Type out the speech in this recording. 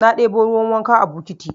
Na ɗebo ruwan wanka a bukiti